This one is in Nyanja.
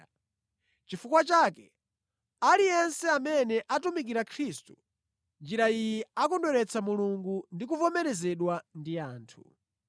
Nʼchifukwa chake aliyense amene atumikira Khristu mʼnjira iyi akondweretsa Mulungu ndi kuvomerezedwa ndi anthu.